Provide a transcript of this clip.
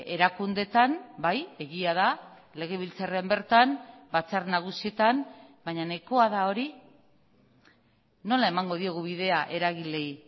erakundeetan bai egia da legebiltzarrean bertan batzar nagusietan baina nahikoa da hori nola emango diogu bidea eragileei